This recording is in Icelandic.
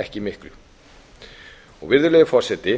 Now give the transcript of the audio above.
ekki miklu virðulegi forseti